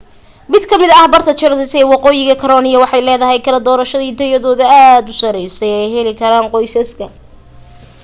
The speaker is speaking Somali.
mid ka mid ah barta charlotte ee waqoyiga carolina waxay leedahay kala doorashooyin tayadooda aad u sarey oo ay heli karaan qoysaska